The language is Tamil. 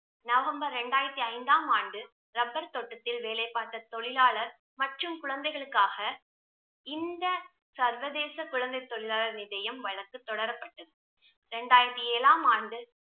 நவம்பர் ரெண்டாயிரத்தி ஐந்தாம் ஆண்டு ரப்பர் தோட்டத்தில் வேலை பார்த்த தொழிலாளர் மற்றும் குழந்தைகளுக்காக இந்த சர்வதேச குழந்தை தொழிலாளர் வழக்கு தொடரப்பட்டது ரெண்டாயிரத்தி ஏழாம் ஆண்டு